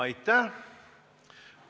Aitäh!